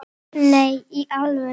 Nei, í alvöru